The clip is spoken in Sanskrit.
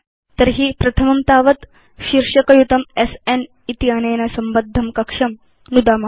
तर्हि प्रथमं तावत् शीर्षक युतं स्न इत्यनेन संबद्धं कक्षं नुदाम